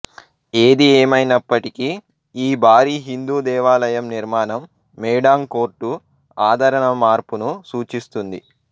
ఏది ఏమైనప్పటికీ ఈ భారీ హిందూ దేవాలయం నిర్మాణం మేడాంగ్ కోర్టు ఆదరణ మార్పును సూచిస్తుంది